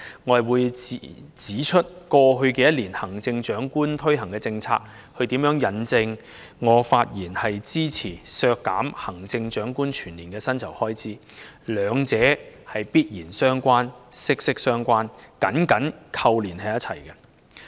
我會指出為何過去一年行政長官推行的政策，是與我這次發言支持削減行政長官全年薪酬開支預算相關，兩者互相緊扣。